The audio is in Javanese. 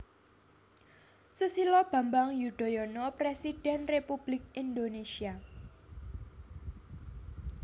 Susilo Bambang Yudhoyono Presiden Republik Indonésia